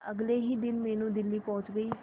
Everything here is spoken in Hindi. अगले ही दिन मीनू दिल्ली पहुंच गए